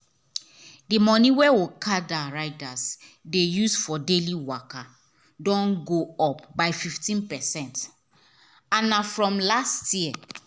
the money wey okada riders dey use for daily waka don go up by 15 percent and na from last year